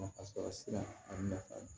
Nafa sɔrɔ sira ani nafa